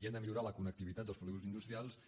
i hem de millorar la connectivitat dels polígons industrials